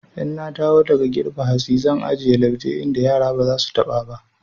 In na dawo daga girbe hatsi zan ajiye lauje inda yara ba za su taɓa ba.